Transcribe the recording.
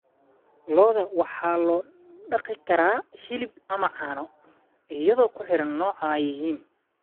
Lo'da waxaa loo dhaqi karaa hilib ama caano, iyadoo ku xiran nooca ay yihiin.